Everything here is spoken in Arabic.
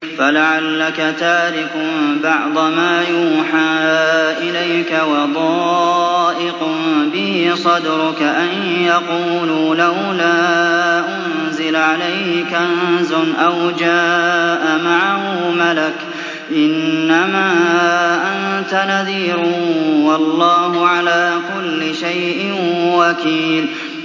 فَلَعَلَّكَ تَارِكٌ بَعْضَ مَا يُوحَىٰ إِلَيْكَ وَضَائِقٌ بِهِ صَدْرُكَ أَن يَقُولُوا لَوْلَا أُنزِلَ عَلَيْهِ كَنزٌ أَوْ جَاءَ مَعَهُ مَلَكٌ ۚ إِنَّمَا أَنتَ نَذِيرٌ ۚ وَاللَّهُ عَلَىٰ كُلِّ شَيْءٍ وَكِيلٌ